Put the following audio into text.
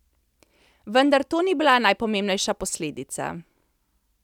Vendar to ni bila najpomembnejša posledica.